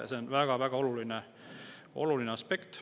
See on väga oluline aspekt.